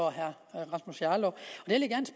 og herre rasmus jarlov